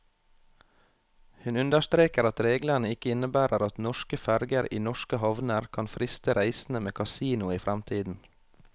Hun understreker at reglene ikke innebærer at norske ferger i norske havner kan friste reisende med kasino i fremtiden.